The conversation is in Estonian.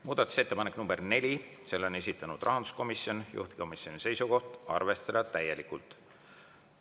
Muudatusettepanek nr 4, selle on esitanud rahanduskomisjon, juhtivkomisjoni seisukoht on arvestada täielikult.